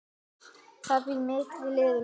Það býr mikið í liðinu.